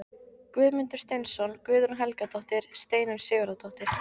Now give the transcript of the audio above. Guðmundur Steinsson, Guðrún Helgadóttir, Steinunn Sigurðardóttir